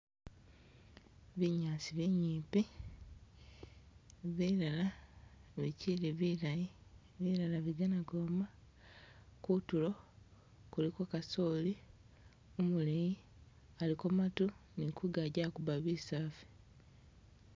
Binyaasi binyipi, bilala bikyili bilayi bilala bigana kwoma, kutulo kuliko kasoli umuleyi aliko matu ni kungagi akuba bisafu.